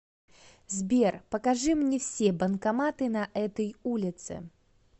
сбер покажи мне все банкоматы на этой улице